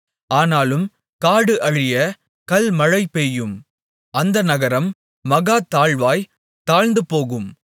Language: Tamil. ஆனாலும் காடு அழிய கல்மழை பெய்யும் அந்த நகரம் மகா தாழ்வாய்த் தாழ்ந்துபோகும்